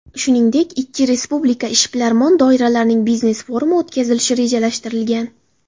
Shuningdek, ikki respublika ishbilarmon doiralarining biznes-forumi o‘tkazilishi rejalashtirilgan.